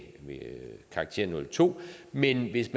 karakteren nul to men hvis